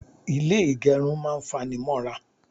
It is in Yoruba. Ilé ìgẹrun máa ń fanimọ́ra.